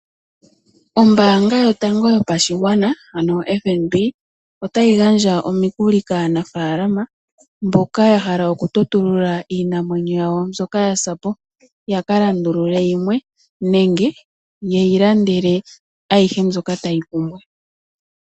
Ombaanga yotango yopashigwana ano oFNB otayi gandja omikuli kaanafaalama mboka ya hala okutotulula iinamwenyo yawo mbyoka yasa po ya kalandulule yimwe nenge yaka lande ayihe mbyoka taya pumbwa.